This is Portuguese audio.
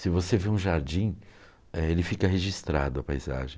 Se você vê um jardim, eh, ele fica registrado, a paisagem.